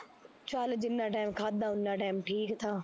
ਚੱਲ ਜਿੰਨਾ ਟੈਮ ਖਾਧਾ ਓਨਾ ਟੈਮ ਠੀਕ ਥਾ